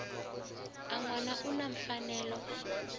un wana u na mfanelo